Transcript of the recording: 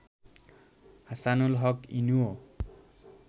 Hasanul Haq ইনুও